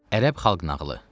Ərəb xalq nağılı.